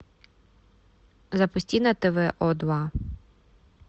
запусти на тв о два